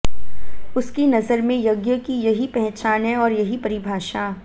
उसकी नजर में यज्ञ की यही पहचान है और यही परिभाषा